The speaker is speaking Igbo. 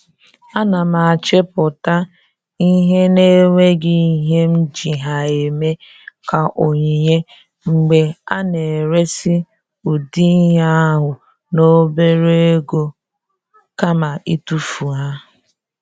A na m achịpụta ihe na enweghị ihe m ji ha eme ka onyinye, mgbe a na eresi ụdị ihe ahụ n'obere ego kama itufu ha